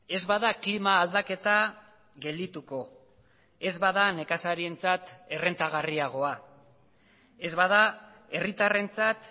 ez bada klima aldaketa geldituko ez bada nekazarientzat errentagarriagoa ez bada herritarrentzat